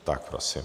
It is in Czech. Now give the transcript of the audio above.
Tak prosím.